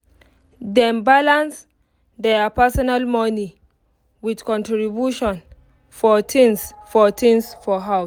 dem balance their personal money with contribution for things for things for house